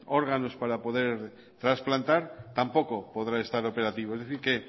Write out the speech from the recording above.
órganos para poder trasplantar tampoco podrá estar operativo es decir